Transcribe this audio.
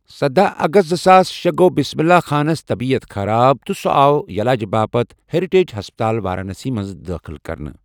سداہ اَگست زٕساس شے گو بِسمِللہ خانس طبیت خراب تہٕ سُہ آو یلاجہِ باپت ہیٚرِٹیج ہسپَتال، وارانَسی منٛز دٲخٕل کرنہٕ۔